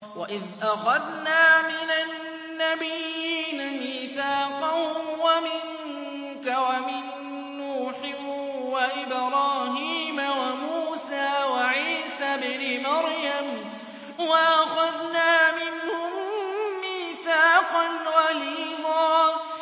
وَإِذْ أَخَذْنَا مِنَ النَّبِيِّينَ مِيثَاقَهُمْ وَمِنكَ وَمِن نُّوحٍ وَإِبْرَاهِيمَ وَمُوسَىٰ وَعِيسَى ابْنِ مَرْيَمَ ۖ وَأَخَذْنَا مِنْهُم مِّيثَاقًا غَلِيظًا